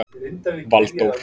Valdór